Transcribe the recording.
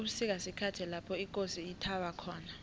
ubusika sikhathi lapho ikosi ithaba khona